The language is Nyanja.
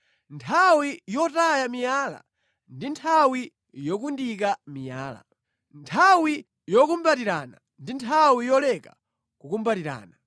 Nthawi yotaya miyala ndi nthawi yokundika miyala, nthawi yokumbatirana ndi nthawi yoleka kukumbatirana.